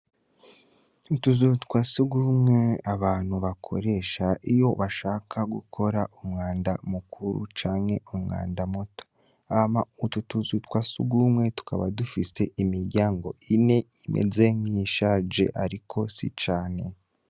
Utuzutwa sigumwe abantu bakoresha iyo bashaka gukora umwanda mukuru canke umwanda muto, hama utu tuzutwa si ugumwe tukaba dufise imirya ngo ine imeze nk'ishaje, ariko si cane.